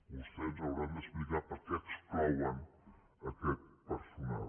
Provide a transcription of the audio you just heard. vostès ens hauran d’explicar per què exclouen aquest personal